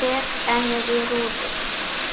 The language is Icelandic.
Rek ennið í rúðuna.